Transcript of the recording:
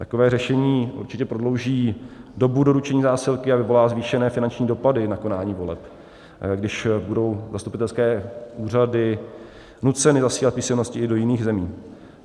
Takové řešení určitě prodlouží dobu doručení zásilky a vyvolá zvýšené finanční dopady na konání voleb, když budou zastupitelské úřady nuceny zasílat písemnosti i do jiných zemí.